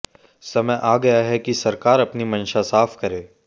समय आ गया है कि सरकार अपनी मंशा साफ़ करे